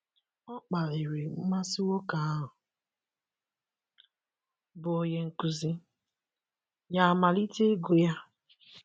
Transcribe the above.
Ọ kpaliri mmasị nwoke ahụ bụ́ onye nkuzi, ya amalite ịgụ ya.